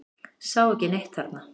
Sá ekki neitt þarna.